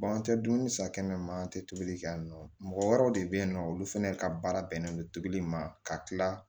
an tɛ dumuni san kɛnɛ ma an tɛ tobili kɛ yan nɔ mɔgɔ wɛrɛw de bɛ yen nɔ olu fɛnɛ ka baara bɛnnen don tobili ma ka kila